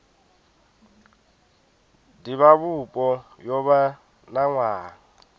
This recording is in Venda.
divhavhupo yo vha na nwaha